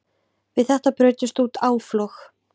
Við þetta brutust út áflog.